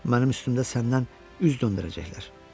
Mənim üstümdə səndən üz döndərəcəklər.